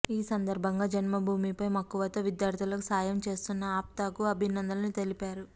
ఈ సందర్భంగా జన్మభూమి పై మక్కువతో విద్యార్దులకు సాయం చేస్తున్న ఆప్తా కు అభినందనలు తెలిపారు